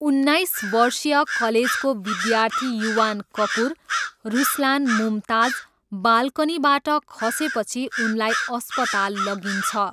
उन्नाइस वर्षीय कलेजको विद्यार्थी युवान कपुर, रुसलान मुमताज, बालकनीबाट खसेपछि उनलाई अस्पताल लगिन्छ।